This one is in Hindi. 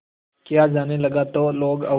किया जाने लगा तो लोग और